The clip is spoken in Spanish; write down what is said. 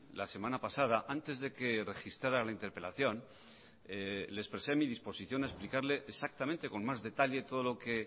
la semana pasada antes de que registrara la interpelación le expresé mi disposición a explicarle exactamente con más detalle todo lo que